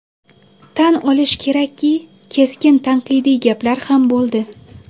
Tan olish kerakki, keskin tanqidiy gaplar ham bo‘ldi.